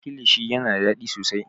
kilishi yana da daɗi sosai